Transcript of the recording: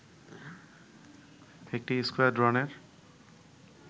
একটি স্কোয়াড্রনের